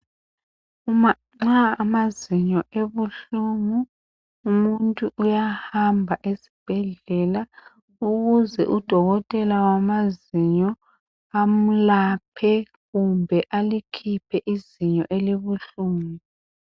Uma amazinyo ebuhlungu, umuntu uyahamba esibhedlela ukuze udokotela wamazinyo amelaphe kumbe alikhiphe izinyo elibuhlungu.